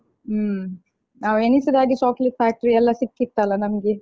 ಹ್ಮ್ ನಾವ್ ಎಣಿಸಿದಾಗೆ chocolate factory ಯೆಲ್ಲಾ ಸಿಕ್ಕಿತ್ತಲ್ಲ ನಮ್ಗೆ.